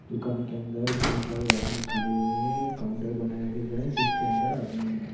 दुकान के अंदर बहुत सारे आदमी खड़े हुए है काउंटर बनाया गया जो है जिस के अंदर आदमी है।